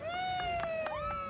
Bravo!